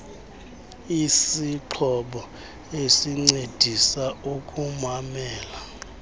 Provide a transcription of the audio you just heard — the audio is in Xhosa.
isixhobo esincedisa ukumamela